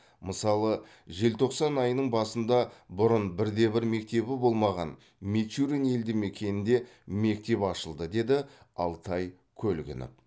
мысалы желтоқсан айының басында бұрын бірде бір мектебі болмаған мичурин елдімекенінде мектеп ашылды деді алтай көлгінов